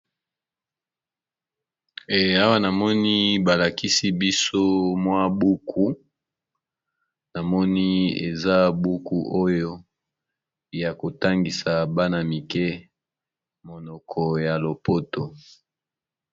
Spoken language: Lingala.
Buku ya mwana kelasi ya 6eme. Buku na lopoto babengi l'atelier du language.